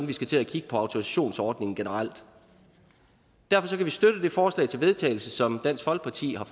vi skal til at kigge på autorisationsordningen generelt derfor kan vi støtte det forslag til vedtagelse som dansk folkeparti har